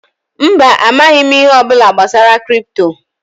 Mba, amaghị m ihe ọbụla gbasara kripto